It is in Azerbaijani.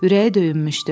Ürəyi döyünmüşdü.